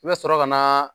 I bɛ sɔrɔ ka na